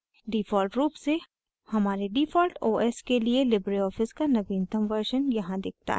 default रूप से हमारे default os के लिए लिबरे ऑफिस का नवीनतम version यहाँ दिखता है